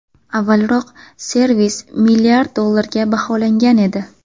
Avvalroq, servis milliard dollarga baholangan edi.